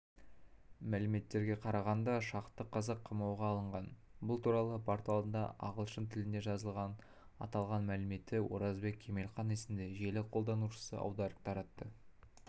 мәліметтерге қарағанда шақты қазақ қамауға алынған бұл туралы порталында ағалшын тілініде жазылған аталған мәліметті оразбек кемелқан есімді желі қолданушысы аударып таратты